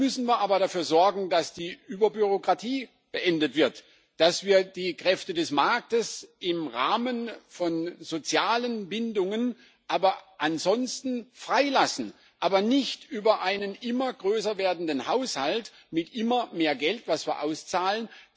Dann müssen wir aber dafür sorgen, dass die Überbürokratie beendet wird, dass wir die Kräfte des Marktes im Rahmen von sozialen Bindungen, aber ansonsten frei lassen, aber nicht über einen immer größer werdenden Haushalt mit immer mehr Geld, das wir auszahlen.